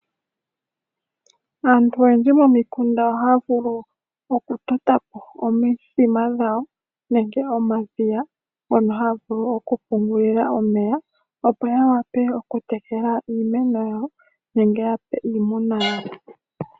Aantu oyendji momikunda, oha ya vulu okutota po omithima dhawo nenge omadhiya mono haya vulu okupungulila omeya opo ya wape okutekela iimeno yawo nenge ya pe iimuna yawo.